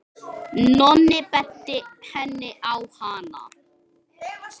Nonni benti henni á hana.